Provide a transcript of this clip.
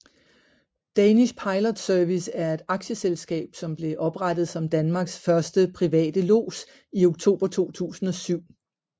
Danish Pilot Service er et aktieselskab som blev oprettet som Danmarks første private lods i oktober 2007